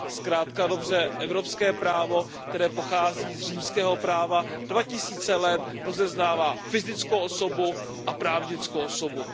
Zkrátka a dobře, evropské právo, které pochází z římského práva, dva tisíce let rozeznává fyzickou osobu a právnickou osobu.